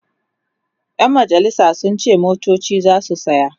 ƴan majalisan sun ce motoci zasu saya